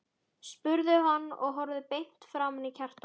spurði hann og horfði beint framan í Kjartan.